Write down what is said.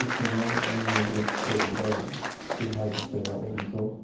İlk gündən onunla bir bölükdə, bir hərbi hissədə olmuşuq.